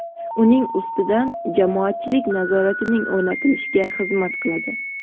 uning ustidan jamoatchilik nazoratining o‘rnatilishiga xizmat qiladi.